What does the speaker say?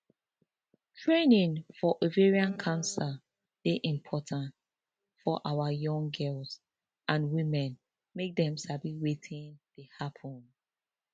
training for ovarian cancer dey important for awa young girls and women make dem sabi wetin dey happun